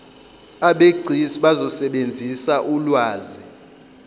abegcis bazosebenzisa ulwazi